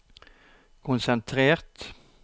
konsentrert